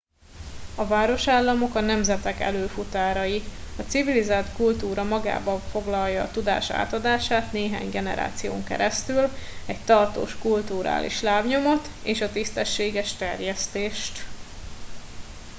a városállamok a nemzetek előfutárai a civilizált kutúra magába foglalja a tudás átadását néhány generáción keresztül egy tartós kulturális lábnyomot és a tisztességes terjesztést